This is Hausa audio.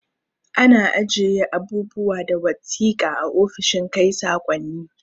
Ana ajiye abubuwa da wasiƙa a ofishin kai sakonni